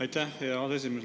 Aitäh, hea aseesimees!